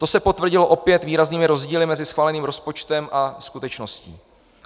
To se potvrdilo opět výraznými rozdíly mezi schváleným rozpočtem a skutečností.